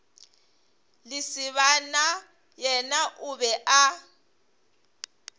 lesibana yena o be a